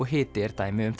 hiti er dæmi um